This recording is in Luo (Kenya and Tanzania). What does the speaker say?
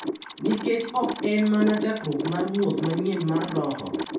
Nikech ok en mana chakruok mar wuoth manyien mar roho .